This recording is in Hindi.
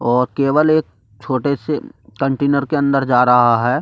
और केवल एक छोटे से कंटेनर के अंदर जा रहा है।